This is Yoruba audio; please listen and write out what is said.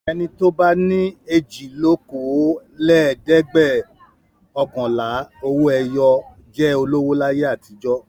Ẹni tó bá ní èjìlókòólẹ́ẹ̀dẹ́gbẹ́ọ̀kànlá Owó-ẹyọ jẹ́ olówó láyé àtijọ́.